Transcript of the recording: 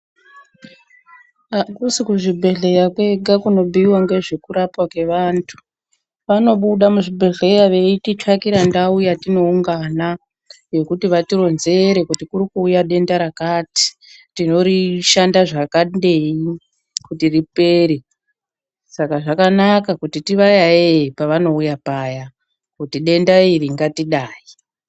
Akusi kuzvibhedhleya kwega kunobhuyiwa ngezvekurapwa kwevantu. Vanobuda muzvibhedhleya veititsvakira ndau yatinoungana yokuti vatironzere kuti kuri kuuya denda rakati tinorishanda zvakadini kuti ripere. Saka zvakanaka kuti tivayayeye pavanouya paya kuti denda iri ngatidai.